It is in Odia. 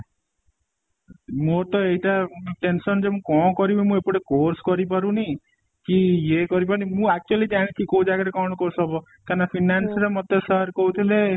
ମୋର ତ ଏଇଟା tension ଯେ ମୁଁ ଏଇଟା କ'ଣ କରିବି ମୁଁ ଏ ପଟେ course କରି ପାରୁନି କି ଇଏ କରି ପାରୁନି ମୁଁ actually ଜାଣିଛି କୋଉ ଜାଗା ରେ କ'ଣ course ହବ କାରଣ finance ର ମତେ sir କହୁ ଥିଲେ